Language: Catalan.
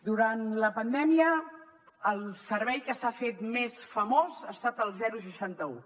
durant la pandèmia el servei que s’ha fet més famós ha estat el seixanta un